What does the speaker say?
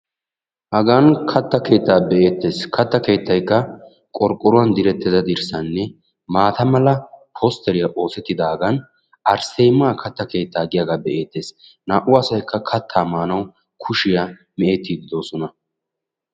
Hagan katta keettaa be'eettes. Katta keettaykka qorqqoruwan direttida dirssanne maata mala postteriya oosettidaagan arsseemaa katta keettaa giyagaa be'eettes. Naa'u asayikka kattaa maanawu kushiya meecettiiddi de'oosona.